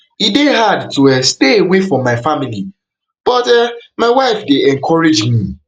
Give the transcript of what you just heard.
e dey hard to um stay away from my family but um my wife encourage me